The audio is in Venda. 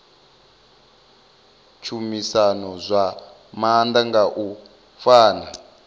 tshumisano zwa maanḓa nga u pfana